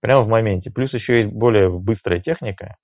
прямо в моменте плюс ещё более быстрая техника